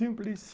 Simples,